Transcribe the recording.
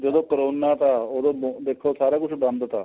ਜਦੋ corona ਥਾ ਉਦੋਂ ਦੇਖੋ ਸਾਰਾ ਕੁੱਝ ਬੰਦ ਥਾ